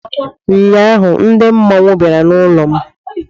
Ụnyaahụ ndị mmọnwụ bịara n'ụlọ m